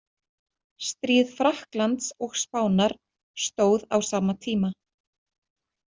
Stríð Frakklands og Spánar stóð á sama tíma.